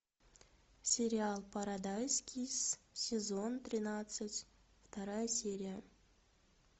сериал парадайз кисс сезон тринадцать вторая серия